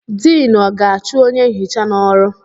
Diinu ọ ga-achụ onye nhicha n'ọrụ?